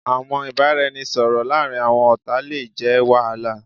Awọn ibaraẹnisọrọ laarin awọn ọta le jẹ wahala